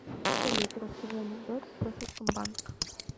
салют расскажи анекдот про совкомбанк